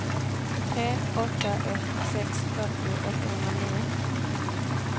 tre åtta ett sex fyrtio åttahundranio